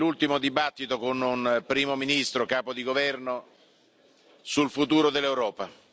È l'ultimo dibattito con un Primo ministro capo di governo sul futuro dell'Europa.